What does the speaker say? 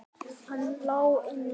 Hann lá inni!